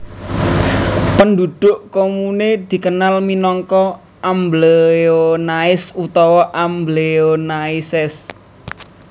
Pendhudhuk komune dikenal minangka Ambléonais utawa Ambléonaises